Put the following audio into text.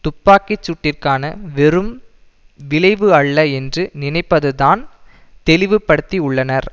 துப்பாக்கி சூட்டிற்கான வெறும் விளைவு அல்ல என்று நினைப்பதைத்தான் தெளிவிபடுத்தியுள்ளனர்